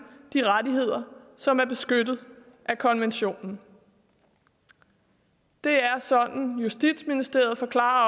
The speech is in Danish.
de rettigheder som er beskyttet af konventionen det er sådan justitsministeriet forklarer